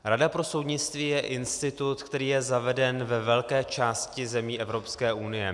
Rada pro soudnictví je institut, který je zaveden ve velké části zemí Evropské unie.